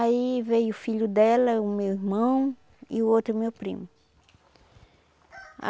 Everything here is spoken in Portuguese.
Aí veio o filho dela, o meu irmão e o outro meu primo.